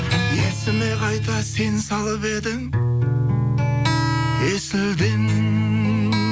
есіме қайта сен салып едің есілден